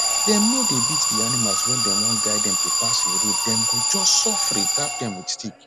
dem no dey beat d animals when dem wan guide them to pass a road dem go just sofri tap dem with stick